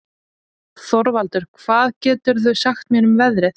Þorvaldur, hvað geturðu sagt mér um veðrið?